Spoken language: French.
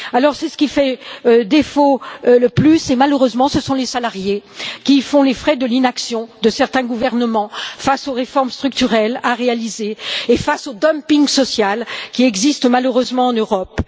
C'est ce qui fait le plus défaut et, malheureusement, ce sont les salariés qui font les frais de l'inaction de certains gouvernements face aux réformes structurelles à réaliser et face au dumping social qui existe malheureusement en Europe.